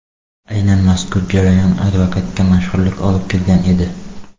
Aynan mazkur jarayon advokatga mashhurlik olib kelgan edi.